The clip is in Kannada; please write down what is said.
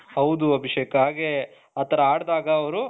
ಹೌದು ಅಭಿಷೇಕ್ ಆಗೆ ಆತರ ಹಾಡಿದಾಗ ಅವರು